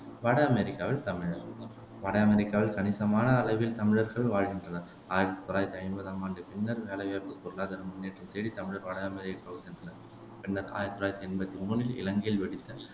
வட அமெரிக்காவில் தமிழர் வட அமெரிக்காவில் கணிசமான அளவில் தமிழர்கள் வாழ்கின்றனர் ஆயிரத்தி தொள்ளாயிரத்தி ஐம்பதாம் ஆண்டுக்குப் பின்னர் வேலைவாய்ப்பு பொருளாதார முன்னேற்றம் தேடித் தமிழர் வட அமெரிக்காவுக்குச் சென்றனர் பின்னர் ஆயிரத்தி தொள்ளாயிரத்தி எம்பத்தி மூணில் இலங்கையில் வெடித்த